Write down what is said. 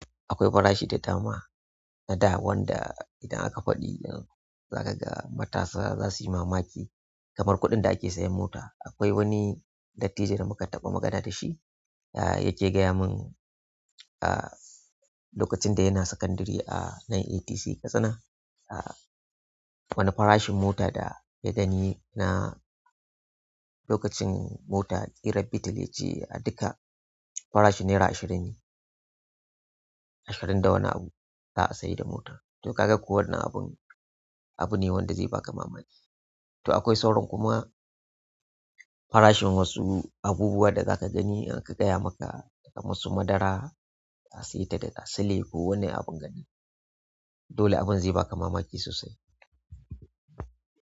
Akwai farashi da dama a da wanda idan aka faɗi zakaga matasa zasuyi mamaki kamar kuɗin da ake sayan mota. Akwai wani dattijo da muka taɓa magana da shi, ya ke gaya mun ah lokacin da yana sakandari a nan ATC Katsina, ah wani farashin mota da ya gani na lokacin mota ƙirar beetle farashin naira ashirin ne ashirin da wani abu za a sayar da mota. To ka ga ko wannan abun abu ne wanda zai baka mamaki. To akwai sauran kuma farashin wasu abubuwan da za ka gani in aka gaya maka, kamar su madara, tasita da tasile ko wani abin gane. Dole abin zai baka mamaki sosai.